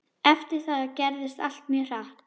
Eftir það gerðist allt mjög hratt.